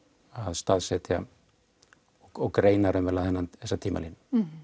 staðsetja og greina raunverulega þessa tímalínu